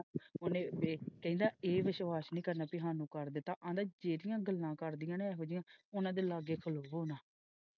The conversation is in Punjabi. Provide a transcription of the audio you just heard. ਉਹਨੇ ਵੇਖ ਕਹਿੰਦਾ ਇਹ ਵਿਸ਼ਵਾਸ ਨਹੀਂ ਕਰਨਾ ਕੀ ਸਾਨੂੰ ਕਰ ਦਿਤਾ ਆਹਦਾ ਜਿਹੜੀਆਂ ਗੱਲਾਂ ਕਰਦਿਆਂ ਉਹੋ ਜਿਹੀ ਹਾਂ ਉਹਨੇ ਦੇ ਲਾਗੇ ਖ਼ਲੋਵੋ ਨਾ।